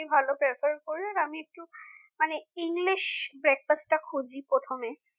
সেই hotel এই ভালো prefer করি আমি একটু মানে english breakfast টা খুঁজি প্রথমে